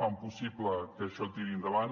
fan possible que això tiri endavant